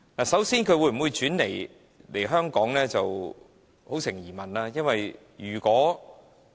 首先，那些公司會否轉移來港是一大疑問，因為如果......